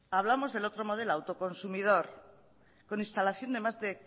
hablamos del otro modelo autoconsumidor con instalación de más de